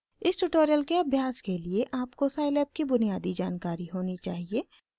इस ट्यूटोरियल के अभ्यास के लिए आपको scilab की बुनियादी जानकारी होनी चाहिए